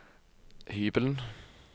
hybelen